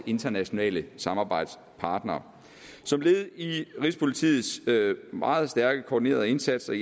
internationale samarbejdspartnere som led i rigspolitiets meget stærke koordinerede indsatser